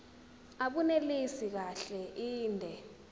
abunelisi kahle inde